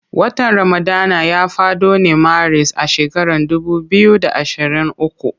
Watan ramadana ya fado ne maris a shekaran dubu biyu da ashirin uku.